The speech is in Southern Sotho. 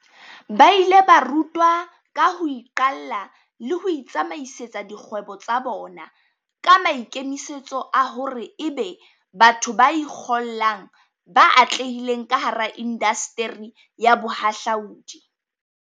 Ba ile ba rutwa ka ho iqalla le ho itsamaisetsa dikgwebo tsa bona, ka maikemisetso a hore ebe batho ba ikgollang ba atlehileng kahara indasteri ya bohahlaudi.